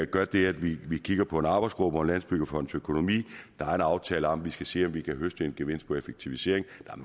gør det at vi vi kigger på en arbejdsgruppe om landsbyggefondens økonomi der er en aftale om at vi skal se om vi kan høste en gevinst ved effektivisering